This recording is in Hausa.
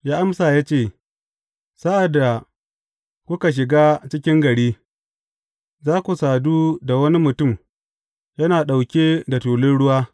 Ya amsa ya ce, Sa’ad da kuka shiga cikin gari, za ku sadu da wani mutum yana ɗauke da tulun ruwa.